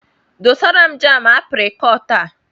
Dosara m jaamụ aprịkọọt a!